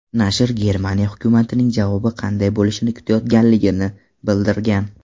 Nashr Germaniya hukumatining javobi qanday bo‘lishini kutayotganligini bildirgan.